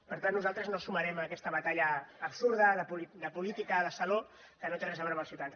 per tant nosaltres no ens sumarem en aquesta batalla absurda de política de saló que no té res a veure amb els ciutadans